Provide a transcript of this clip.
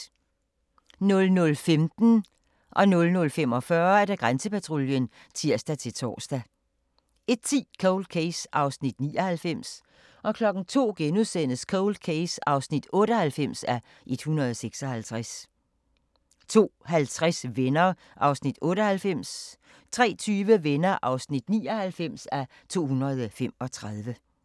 00:15: Grænsepatruljen (tir-tor) 00:45: Grænsepatruljen (tir-tor) 01:10: Cold Case (99:156) 02:00: Cold Case (98:156)* 02:50: Venner (98:235) 03:20: Venner (99:235)